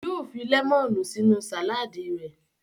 Yóò fi lẹ́mọ́nù sínú sàládì rẹ̀.